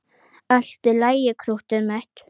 Allt í lagi, krúttið mitt!